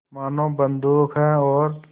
मानो बंदूक है और